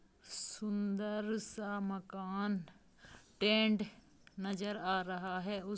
सुंदर सा मकान टेन्ट नजर आ रहा है।